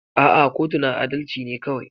A'a kotu na adalci ne kawai.